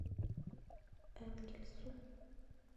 энгельсу